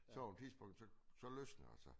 Så på et tidspunkt så så løsner det sig